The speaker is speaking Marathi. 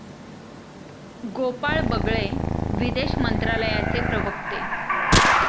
गोपाळ बगळे, विदेश मंत्रालयाचे प्रवक्ते